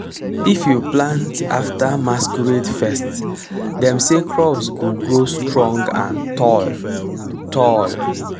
if you plant after masquerade fest dem say crops go grow strong and tall. tall.